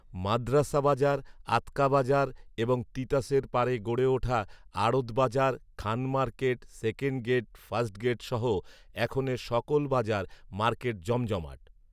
মাদ্রাসা বাজার, আৎকা বাজার এবং তিতাসের পাড়ে গড়ে উঠা আড়ত বাজার, Khan market, second gate first gate সহ এখনের সকল বাজার, মার্কেট জমজমাট